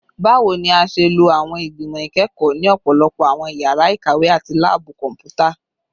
Bawo ni a ṣe lo awọn igbimọ ikẹkọ ni ọpọlọpọ awọn yara ikawe ati laabu kọnputa?